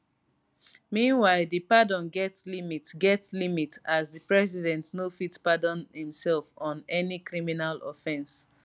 meanwhile di pardon get limit get limit as di president no fit pardon imsef of any criminal offence